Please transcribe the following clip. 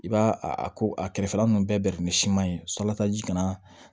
I b'a a ko a kɛrɛfɛla ninnu bɛɛ tun bɛ siman ye sɔlatan ji kana